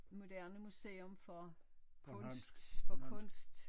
Moderne museum for kunst for kunst